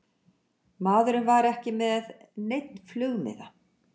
Maðurinn var ekki með neinn flugmiða